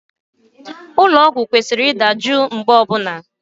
Ụlọ ọgwụ kwesịrị ịdị jụụ mgbe niile